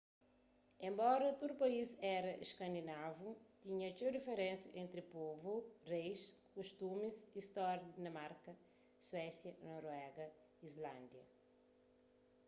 enbora tudu país éra iskandinavu tinha txeu diferensa entri povu reis kustumis y stória di dinamarka suésia noruéga e islândia